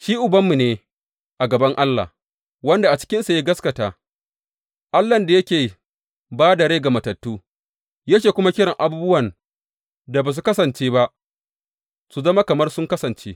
Shi ubanmu ne a gaban Allah, wanda a cikinsa ya gaskata, Allahn da yake ba da rai ga matattu, yake kuma kiran abubuwan da ba su kasance ba su zama kamar sun kasance.